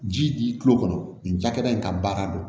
Ji di kulo kɔnɔ nin jakɛda in ka baara don